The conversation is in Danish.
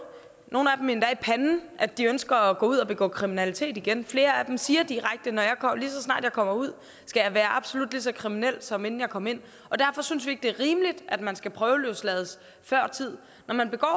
nogle af dem endda i panden at de ønsker at gå ud og begå kriminalitet igen flere af dem siger direkte ligeså snart jeg kommer ud skal jeg være absolut ligeså kriminel som inden jeg kom ind derfor synes vi ikke det er rimeligt at man skal prøveløslades før tid når man begår